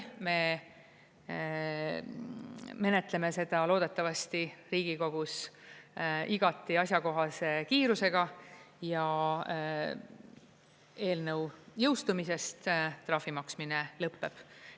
Me menetleme seda loodetavasti Riigikogus igati asjakohase kiirusega ja eelnõu jõustumisest trahvi maksmine lõpeb.